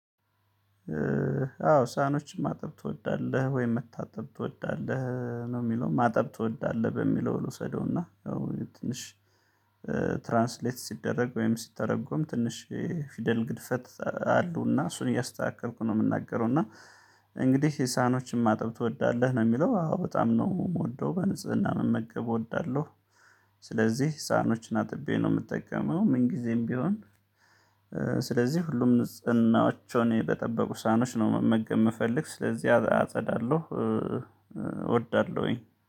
አዎ ሳህኖችን ማጠብ ትወዳለህ ወይም መታጠብ ትወዳለህ? ነው የሚለው ማጠብ ትወዳለህ በሚለው ልውሰደውና ትንሽ ትራንስሌት ሲደረግ ወይም ሲተረጎም ትንሽ ፊደል ግድፈት አሉና እሱን እያስተካከልኩ ነው የምናገረው እና እንግዲህ ሳኖችን ማጠብ ትወዳለህ ነው የሚለው አዎ በጣም ነው የምወደው በንጽህና መመገብ እወዳለሁ። ስለዚህ ሳህኖችን አጥቤ ነው የምጠቀመው። ምን ጊዜም ቢሆን ስለዚህ ሁሉም ንጽህናዎቻቸውን በጠበቁ ሳኖች ነው መመገብ የምፈልግ ስለዚህ አጸዳለሁ እወዳለሁኝ።